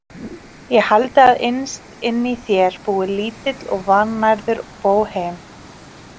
Ég haldi að innst inni í þér búi lítill og vannærður bóhem.